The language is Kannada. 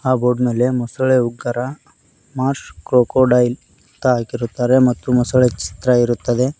ಆ ಬೋರ್ಡ್ ಮೇಲೆ ಮೊಸಳೆ ಉಕ್ಕರ ಮರ್ಶ್ ಕ್ರಾಕೋಡೈಲ್ ಅಂತ ಹಾಕಿರುತ್ತಾರೆ ಮತ್ತು ಮೊಸಳೆ ಚಿತ್ರ ಇರುತ್ತದೆ.